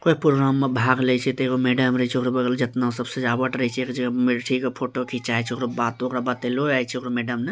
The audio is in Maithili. कोई प्रोग्राम में भाग ले छै ते मैडम रहे छै जेतना सजावट रहय छै एक जगह---